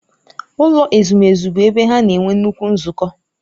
Ụlọ ezumezu bụ ebe ha na-enwe nnukwu nzukọ.